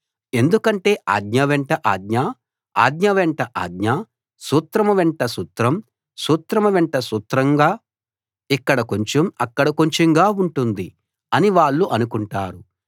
ఎందుకంటే ఆజ్ఞ వెంట ఆజ్ఞ ఆజ్ఞ వెంట ఆజ్ఞ సూత్రం వెంట సూత్రం సూత్రం వెంట సూత్రంగా ఇక్కడ కొంచెం అక్కడ కొంచెంగా ఉంటుంది అని వాళ్ళు అనుకుంటారు